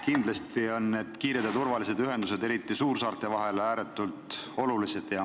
Kindlasti on kiired ja turvalised ühendused ka suursaarte vahel ääretult olulised.